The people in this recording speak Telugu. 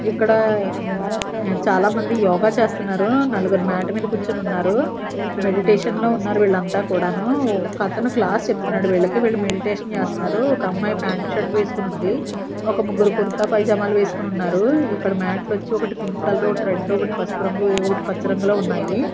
ఇక్కడ ఉమ్ చాలామంది యోగా చేస్తున్నారు నలుగురు మ్యాట్ మీద కూర్చుని ఉన్నారు మెడిటేషన్ లో ఉన్నారు వీళ్ళంతా కూడాను ఒకతను క్లాస్ చెప్తున్నాడు వీళ్ళకి వీళ్ళు మెడిటేషన్ చేస్తున్నారు ఒక అమ్మాయి ప్యాంట్ షర్ట్ వేసుకొని ఉంది ఒక ముగ్గురు కుర్త పైజామాలు వేసుకొని ఉన్నారు ఇక్కడ మ్యాట్లు వచ్చి ఒకటి పింక్ కలర్ ఒకటి రెడ్ ఒకటి పసుపు రంగు ఏవో ఒకటి పచ్చ రంగులో ఉన్నాయి.